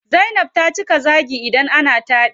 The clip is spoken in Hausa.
Zainab ta cika zaagi idan ana taɗi.